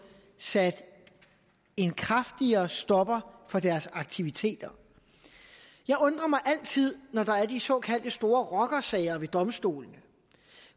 sat en kraftigere stopper for deres aktiviteter jeg undrer mig altid når der er de såkaldte store rockersager ved domstolene